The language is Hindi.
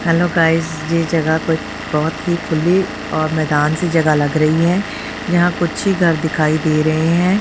हेलो गाइस ये जगह पर बहोत ही खुली और मैदान सी जगह लग रही है यहां कुछ ही घर दिखाई दे रहे हैं।